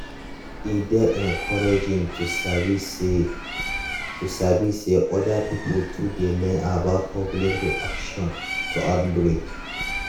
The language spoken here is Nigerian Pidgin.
e dey encouraging to sabi say to sabi say other pipo too dey learn about public reaction to outbreak